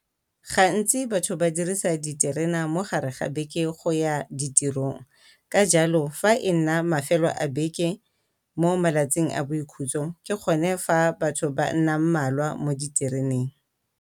Gantsi batho ba dirisa diterena mogare ga beke go ya ditirong, ka jalo fa e nna mafelo a beke mo malatsing a boikhutso ke go ne fa batho ba nnang mmalwa mo ditereneng.